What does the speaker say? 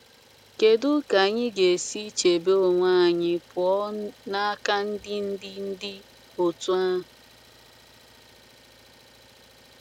kedụ ka anyi ga esi chebe onwe anyi pụọ n'aka ndi ndi ndi otu a